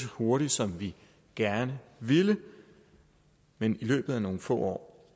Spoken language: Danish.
hurtigt som vi gerne ville men i løbet af nogle få år